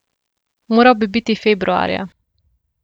Moral bi biti februarja.